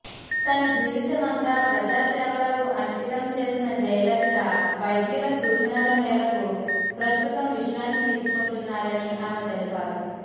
తన జీవితమంతా ప్రజాసేవలకు అంకితం చేసిన జయలలిత వైద్యుల సూచనల మేరకు ప్రస్తుతం విశ్రాంతి తీసుకుంటున్నారని ఆమె తెలిపారు